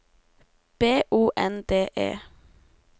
B O N D E